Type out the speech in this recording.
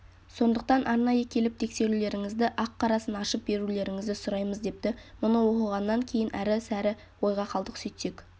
сондықтан арнайы келіп тексерулеріңізді ақ-қарасын ашып берулеріңізді сұраймыз депті мұны оқығаннан кейін әрі-сәрі ойға қалдық сөйтсек